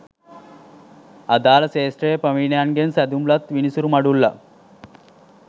අදාළ ක්ෂේත්‍රයේ ප්‍රවීණයන්ගෙන් සැදුම්ලත් විනිසුරු මඩුල්ලක්